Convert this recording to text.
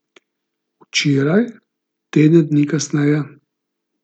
Včeraj, teden dni kasneje.